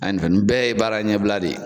nin bɛɛ ye baara ɲɛbila de ye.